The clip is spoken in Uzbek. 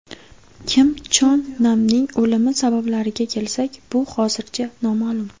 Kim Chon Namning o‘limi sabablariga kelsak, bu hozircha noma’lum.